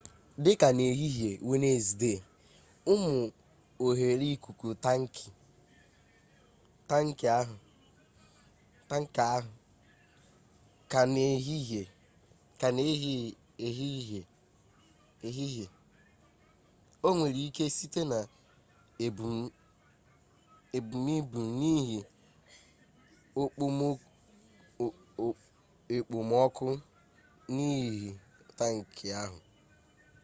dị ka n'ehihie wenezdee ụmụ oghere ikuku tankị ahụ ka na-ehi ehi o nwere ike site na ebumibu n'ihi ekpomọkụ n'ime tankị ahụ